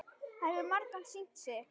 Það hefur margoft sýnt sig.